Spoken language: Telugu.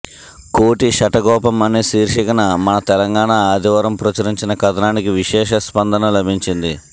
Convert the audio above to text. కోటి శఠగోపం అనే శీర్షికన మనతెలంగాణ ఆదివారం ప్రచురించిన కథనానికి విశేష స్పందన లభించింది